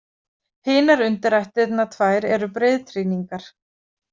Hinar undirættirnar tvær eru breiðtrýningar.